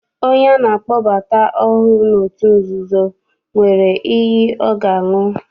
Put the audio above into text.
Onye ana akpọbata ọhụụ n'otu nzuzo, nwere iyi ọ ga-aṅụ.